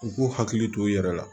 U k'u hakili to u yɛrɛ la